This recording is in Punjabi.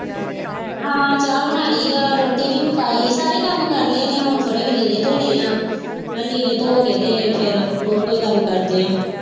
ਹਾਂ ਚ ਬਣਾ ਲਈ ਆ ਰੋਟੀ ਵੀ ਪਕਾਲੀ, ਸਾਰੇ ਕੰਮ ਕਰਲੇ ਨੇ, ਹੁਣ ਥੋੜੇ ਕੁ ਲੀੜੇ ਧੋਣੇ ਆ ਮੈਂ ਕਿਹਾ ਲੀੜੇ ਧੋਕੇ ਫੇਰ ਫੇਰ ਕੋਈ ਹੋਰ ਕੰਮ ਕਰਦੇ ਆ